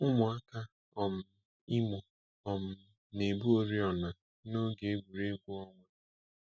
Ụmụaka um Imo um na-ebu oriọna n'oge egwuregwu ọnwa.